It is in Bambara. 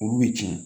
Olu bɛ tiɲɛ